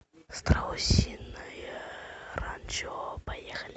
страусиное ранчо поехали